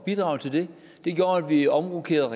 bidrage til det det gjorde at vi omrokerede